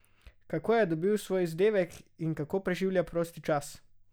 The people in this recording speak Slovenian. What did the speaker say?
Kako je dobil svoj vzdevek in kako preživlja prosti čas?